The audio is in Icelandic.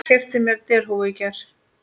Keypti mér derhúfu í gær.